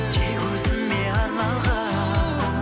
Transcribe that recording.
тек өзіңе арналған